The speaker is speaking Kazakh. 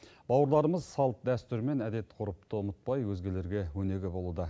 бауырларымыз салт дәстүр мен әдет ғұрыпты ұмытпай өзгелерге өнеге болуда